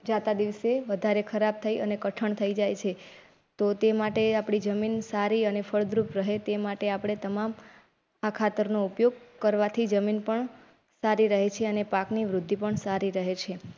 જાતા દિવસે વધારે ખરાબ થઈ અને કઠણ થઈ જાય છે તો તે માટે આપણી જમીન સારી અને ફળદ્રુપ રહે તે માટે આપણે તમામ આ ખાતર ઉપયોગ કરવાથી જમીન પણ સારી રહે છે. પાકની વૃદ્ધિ પણ સારી રહે છે.